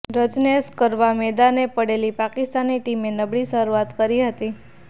run chase કરવા મેદાને પડેલી પાકિસ્તાની ટીમે નબળી શરૂઆત કરી હતી